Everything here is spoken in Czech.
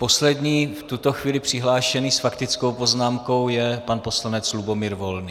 Poslední v tuto chvíli přihlášený s faktickou poznámkou je pan poslanec Lubomír Volný.